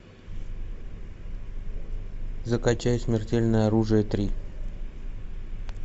закачай смертельное оружие три